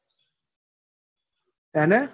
એને